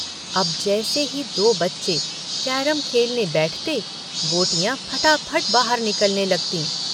अब जैसे ही दो बच्चे कैरम खेलने बैठते गोटियां फटाफट बाहर निकलने लगतीं।